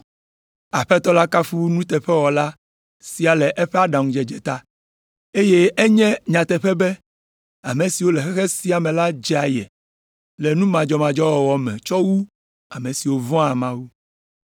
“Aƒetɔ la kafu nuteƒemawɔla sia le eƒe aɖaŋudzedze ta. Eye enye nyateƒe be ame siwo le xexe sia me la dze aye le nu madzɔmadzɔ wɔwɔ me tsɔ wu ame siwo vɔ̃a Mawu.”